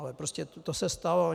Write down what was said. Ale prostě to se stalo.